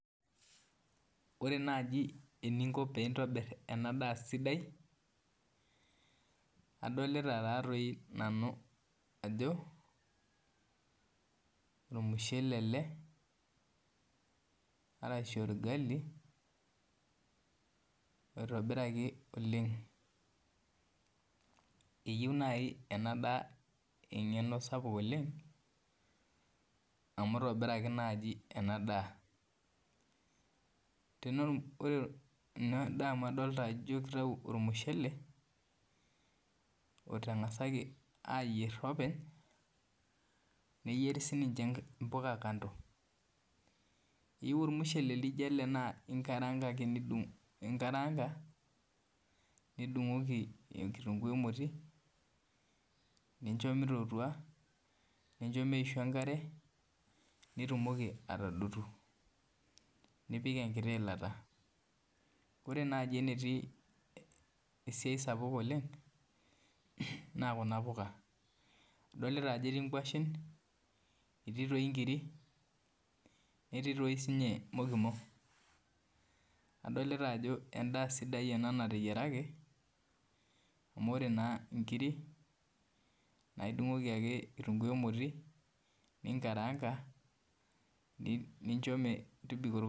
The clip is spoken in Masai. Ore naaji teninko peintobir enadaa sidai adolta ajo ormushele ele arashu orgali oitobiraku oleng eyieu nai enadaa engeno sapuk oleng amu itobiraki enadaa ore enadaa amu kitau ormushele otangasaki ayier openy neyieri mpuka kando , keyieu ormushele lijo ele naa inkarangaa nidungoki kitunguu emotio nincho mitootua nitumoki atodotu nipik enkiti ilata ore nai enetii esiai oleng na kuna puka idolta ajo etii nkwashen etii nkirik netii sinye mokimo adolta ajo endaa sidai ena nateyiaraki amu ore nkirik na idungoki ake kitunguu nkirik ninkarangaa nincho metobiko.